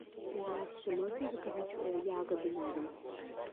здравствуйте можно заказать ягоды на дом